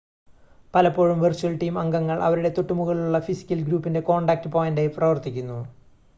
പലപ്പോഴും virtual team അംഗങ്ങൾ അവരുടെ തൊട്ടുമുകളിലുള്ള ഫിസിക്കൽ ഗ്രൂപ്പിൻ്റെ കോൺടാക്റ്റ് പോയിൻ്റായി പ്രവർത്തിക്കുന്നു